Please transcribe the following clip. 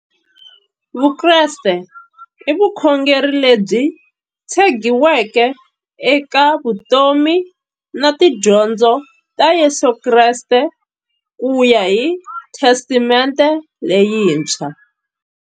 Vukreste i vukhongeri lebyi tshegiweke eka vutomi na tidyondzo ta Yesu Kreste kuya hi Testamente leyintshwa.